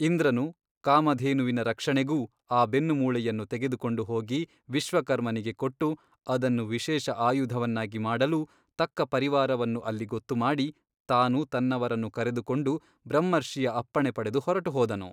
ಇಂದ್ರನು ಕಾಮಧೇನುವಿನ ರಕ್ಷಣೆಗೂ ಆ ಬೆನ್ನುಮೂಳೆಯನ್ನು ತೆಗೆದುಕೊಂಡು ಹೋಗಿ ವಿಶ್ವಕರ್ಮನಿಗೆ ಕೊಟ್ಟು ಅದನ್ನು ವಿಶೇಷ ಅಯುಧವನ್ನಾಗಿ ಮಾಡಲೂ ತಕ್ಕ ಪರಿವಾರವನ್ನು ಅಲ್ಲಿ ಗೊತ್ತುಮಾಡಿ ತಾನು ತನ್ನವರನ್ನು ಕರೆದುಕೊಂಡು ಬ್ರಹ್ಮರ್ಷಿಯ ಅಪ್ಪಣೆ ಪಡೆದು ಹೊರಟುಹೋದನು.